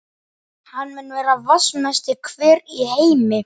Hann mun vera vatnsmesti hver í heimi.